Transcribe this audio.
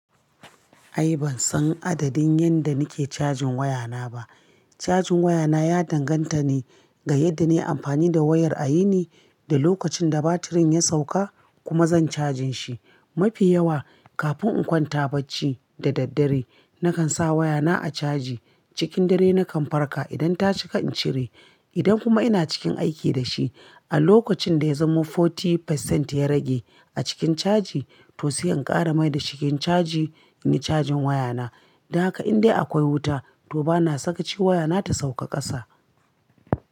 Ai ban san adadin yanda nike cajin wayana ba. Cajin wayana ya danganta ne ga yadda na yi amfani da wayar a yini, da lokacin da batirin ya sauka kuma zan cajin shi. Mafi yawa kafin in kwanta bacci da daddare nakan sa wayana a caji. Cikin dare nakan farka idan ta cika in cire. Idan kuma ina cikin aiki da shi, a lokacin da ya zamo kashi arba'in cikin ɗari ya rage a cikin caji, to siyan ƙara mai da cikin caji ne cajin wayana. Da haka indai akwai wuta to bana saka ci wayana ta sauka ƙasa.